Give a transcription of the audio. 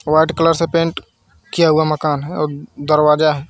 White colour से paint किया हुआ मकान है और दरवाजा है।